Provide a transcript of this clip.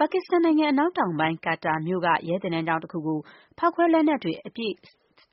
ပါကစ္စတန်နိုင်ငံ အနောက်တောင်ပိုင်း Quetta မြို့က ရဲသင်တန်းကျောင်းတခုကို ဖောက်ခွဲလက်နက် အပြည့်